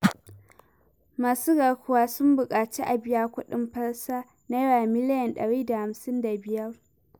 Masu garkuwa sun buƙaci a biya kuɗin fasa Naira miliyan ɗari da hamsin da biyar.